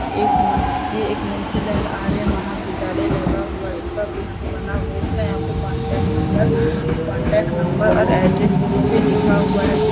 एक मा ये एक मुंशी लाल आर्य महाविद्यालय लगा हुआ सब यहां पर बना हुआ इसमे यहां पर कॉन्टैक्ट नंबर कॉन्टैक्ट नंबर और एड्रेस यहां पर लिखा हुआ है जिस --